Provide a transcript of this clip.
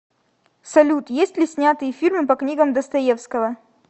салют есть ли снятые фильмы по книгам достоевского